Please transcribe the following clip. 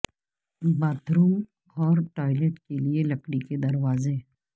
bath room اور toilet کے لئے لکڑی کے دروازے